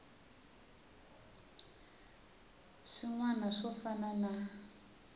swin wana swo fana na